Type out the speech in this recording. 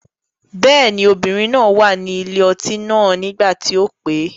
Bẹ́ẹ̀ ni, obìnrin náà wà ní ilé ọtí náà nígbà tí o pè.